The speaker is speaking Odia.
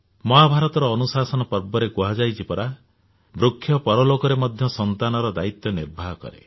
ମହାଭାରତର ଅନୁଶାସନ ପର୍ବରେ କୁହାଯାଇଛି ପରା ବୃକ୍ଷ ପରଲୋକରେ ମଧ୍ୟ ସନ୍ତାନର ଦାୟୀତ୍ୱ ନିର୍ବାହ କରେ